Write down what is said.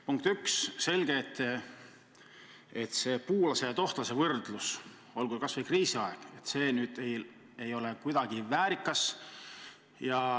Punkt 1: on selge, et puulase ja tohtlase võrdlus, olgu kas või kriisiaegne, ei ole kohe kuidagi väärikas.